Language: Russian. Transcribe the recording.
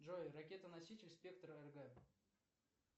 джой ракетоноситель спектр рг